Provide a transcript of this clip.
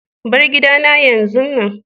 Bar gidana yanzun nan!